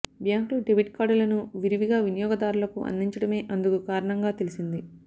బ్యాంకులు డెబిట్ కార్డులను విరివిగా వినియోగదారులకు అందించడమే అందుకు కారణంగా తెలిసింది